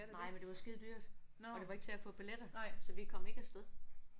Nej men det var skidedyrt. Og det var ikke til at få billetter. Så vi kom ikke afsted